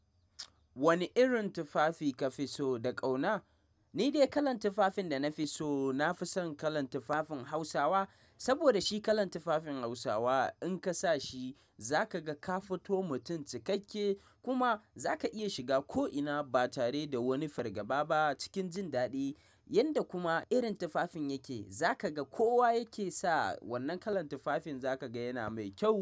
Wane irin tufafi ka fi so da ƙauna? Ni dai kalar tufafin da na fi so, na fi son kalar tufafin Hausawa. Saboda shi kalar tufafin Hausawa in ka sa shi za ka ga ka fito mutum cikakke kuma za ka iya shiga ko'ina ba tare da wani fargaba ba cikin jin daɗi. Yanda kuma irin tufafin yake, za ka ga kowa yake sa wannan kalar tufafin za ka ga yana mai kyau.